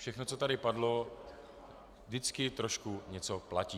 Všechno, co tady padlo, vždycky trošku něco platí.